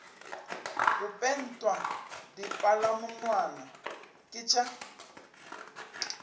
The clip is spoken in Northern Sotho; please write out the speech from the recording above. go pentwa dipalamonwana ke tša